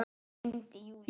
Gleymdi Júlíu.